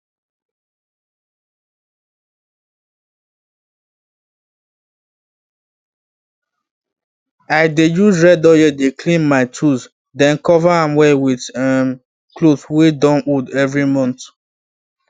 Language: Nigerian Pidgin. i dey use red oil dey clean my tools then cover am well with um cloth wey don old every month